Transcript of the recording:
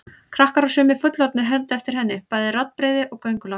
Krakkar og sumir fullorðnir hermdu eftir henni, bæði raddbrigði og göngulag.